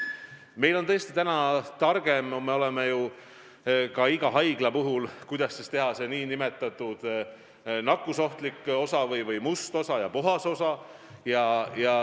Me oleme täna tõesti targemad ja teame, kuidas eraldada nakkusohtlik osa ehk nn must osa ja puhas osa.